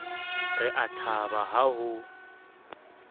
re a thaba ha ho